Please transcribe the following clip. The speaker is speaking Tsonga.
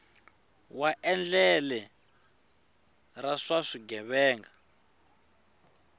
wa endlele ra swa vugevenga